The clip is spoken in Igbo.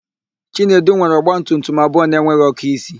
Chinedu nwere ọgbatumtum abụọ na-enweghị ọ́kụ́isi.